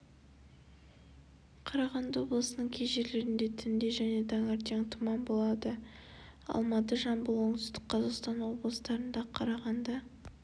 қарағанды облысының кей жерлерінде түнде және таңертең тұман болады алматы жамбыл оңтүстік қазақстан облыстарында қарағанды